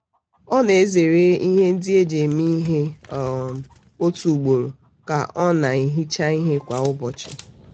ọ na-ezere na-ezere ihe ndị e ji eme ihe um otu ugboro ka ọ na-ehicha ihe kwa ụbọchị